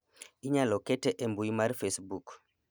inyalo kete e mbui mar facebook